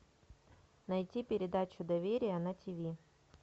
найти передачу доверие на ти ви